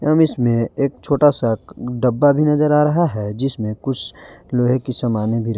हम इसमें एक छोटा सा डब्बा भी नजर आ रहा है जिसमें कुछ लोहे की समाने भी रख--